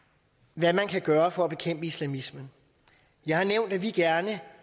hvad man kan gøre for at bekæmpe islamismen jeg har nævnt at vi gerne